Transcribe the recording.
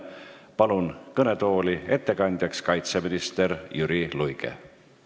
Kutsun kõnetooli ettekandjaks kaitseminister Jüri Luige.